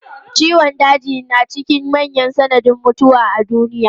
Ciwon daji na cikin manyan sanadin mutuwa a duniya.